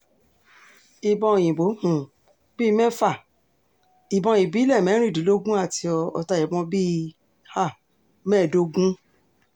ìbọn òyìnbó um bí i mẹ́fà ìbọn ìbílẹ̀ mẹ́rìndínlógún àti ọta ìbọn bíi mẹ́ẹ̀dógún